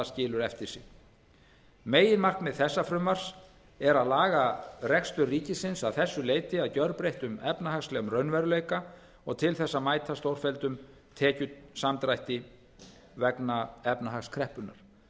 skilur eftir sig meginmarkmið þessa frumvarps er að laga rekstur ríkisins að þessu leyti að gjörbreyttum efnahagslegum raunveruleika og til þess að mæta stórfelldum tekjusamdrætti vegna efnahagskreppunnar